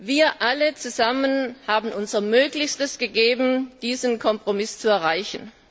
Wir alle zusammen haben unser Möglichstes gegeben, diesen Kompromiss zu erreichen.